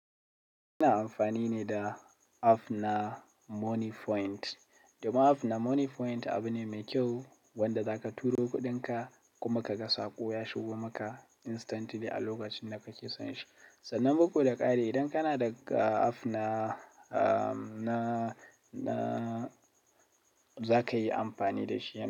Ina amfani ne da app na Moniepoint. Domin app na Moniepoint abu ne mai kyau wanda za ka turo kuɗinka kuma ka ga saƙo ya shigo maka instantly a lokacin da ka ke son shi. Sannan bugu da ƙari idan kana da app na, na, na za ka yi amfani da shi yanzu.